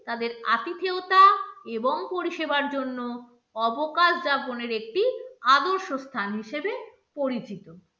তাদের আতিথেয়তা এবং পরিষেবার জন্য অবকাশ যাপনের একটি আদর্শ স্থান হিসেবে পরিচিত।